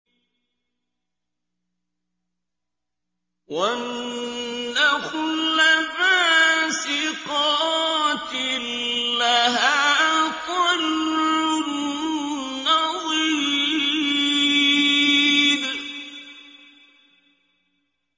وَالنَّخْلَ بَاسِقَاتٍ لَّهَا طَلْعٌ نَّضِيدٌ